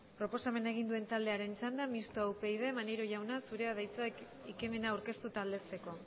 proposamena egin duen taldearen txanda mistoa upyd maneiro jauna zurea da hitza ekimena aurkeztu eta aldezteko